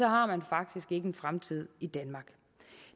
har man faktisk ikke en fremtid i danmark